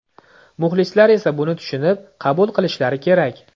Muxlislar esa buni tushunib, qabul qilishlari kerak.